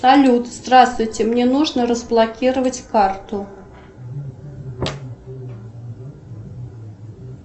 салют здравствуйте мне нужно разблокировать карту